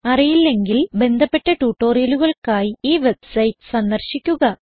അറിയില്ലെങ്കിൽ ബന്ധപ്പെട്ട ട്യൂട്ടോറിയലുകൾക്കായി ഈ വെബ്സൈറ്റ് സന്ദർശിക്കുക